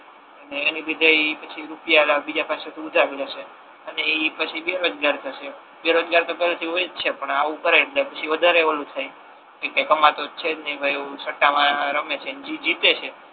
અને એ બધા એ પછી રૂપિયા વાળા બીજા પાસે થી ઉધાર લે છે અને એ પછી બેરોજગાર થસે બેરોજગાર તો પેહલા થી હોય છે પણ આવુ કરે એટલે પછી વધારે ઓલુ થાય કે કઈ કમાતો તો છે જ નહી ભાઈ સટ્ટા મા રમે છે ને જે જીતે છે